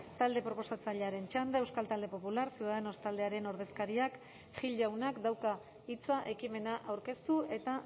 talde proposatzailearen txanda euskal talde popular ciudadanos taldearen ordezkariak gil jaunak dauka hitza ekimena aurkeztu eta